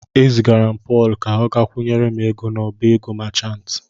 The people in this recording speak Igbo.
E zigara m Pọl ka o kwụnyere m ego n'ọbá ego machantị.